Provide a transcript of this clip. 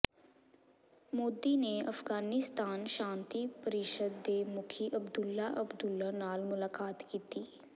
ਮੋਦੀ ਨੇ ਅਫ਼ਗ਼ਾਨਿਸਤਾਨ ਸ਼ਾਂਤੀ ਪਰਿਸ਼ਦ ਦੇ ਮੁਖੀ ਅਬਦੁੱਲ੍ਹਾ ਅਬਦੁੱਲ੍ਹਾ ਨਾਲ ਮੁਲਾਕਾਤ ਕੀਤੀ